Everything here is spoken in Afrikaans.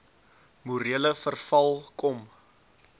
morele verval kom